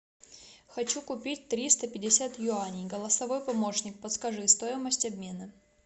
хочу купить триста пятьдесят юаней голосовой помощник подскажи стоимость обмена